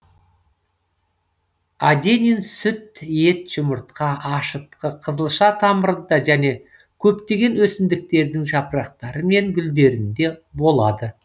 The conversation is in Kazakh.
аденин сүт ет жұмыртқа ашытқы қызылша тамырында және көптеген өсімдіктердің жапырақтары мен гүлдерінде болады